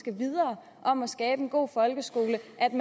om at han